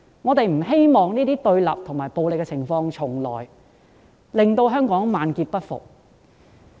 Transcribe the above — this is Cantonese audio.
我們不希望這些對立和暴力的情況重來，令香港萬劫不復。